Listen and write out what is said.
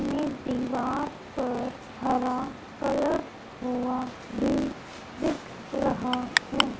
एक दीवार पर हरा कलर हुआ है दिख रहा है।